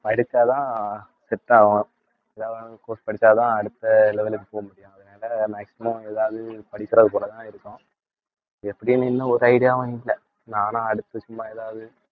படிச்சாதான் set ஆவும். தேவையான course படிச்சாதான் அடுத்த level க்கு போக முடியும், அதனால maximum ஏதாவது படிக்கிறது போலதான் இருக்கும் எப்படியும் இன்னும் ஒரு idea வும் இல்லை நானா அடுத்து சும்மா ஏதாவது